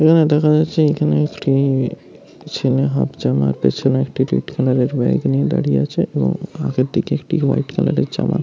এখানে দেখা যাচ্ছে এখানে একটি একটি ছেলে হাফ জামা একটা ছেলে একটি রেড কালার - এর বাইক নিয়ে দাঁড়িয়ে আছে । এবং ফাঁকের দিকে একটি হোয়াইট কালার - এর জামা।